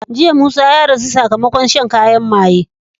Jiya musa ya rasu sakamakon shan kayan maye